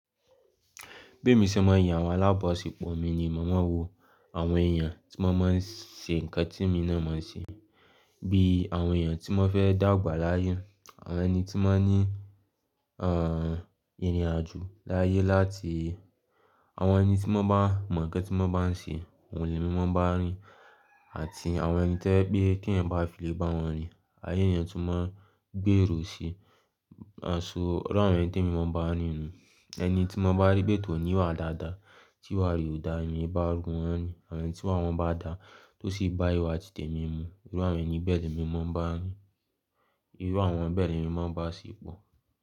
Bí mo ṣe máa ń yan àwọn alábaṣe pọ̀ mi ni màá mọ̀ wo àwọn èèyàn tí wọ́n máa ń ṣe nǹkan tí mi náà máa ń ṣe, bí i àwọn èèyàn tí wọ́n fẹ́ dàgbà láyé, àwọn ẹni tí máa ń ní erinrin-àjò láyé láti àwọn ẹni tí wọ́n bá mọ̀ ǹkan tí wọ́n bá ń ṣe, oun lẹ́ mi máa bá a rin àti àwọn ẹni tẹ́ ẹ pé tí ẹ̀yin bá fi lè bá wọn rin. Ayé èèyàn tó máa ń gbéèrò si, àṣọ iru àwọn ẹni tí èmi máa bá a rin nù. Ẹni tí mo bá rí pé tòní wà dáadáa, tí wàá rí òdà, èmi bá rún wọ́n ni. Àwọn ẹni tí iwa wọ́n bá dà tó sì bá ìwà tìtẹ̀ mi mu, irú àwọn ẹni bẹ́ẹ̀ ni èmi máa ń bá a rin. Irú àwọn bẹ́ẹ̀ ni èmi máa ń bá a ṣe pọ̀